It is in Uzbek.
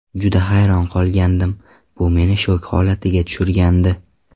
Juda hayron qolgandim, bu meni shok holatiga tushirgandi.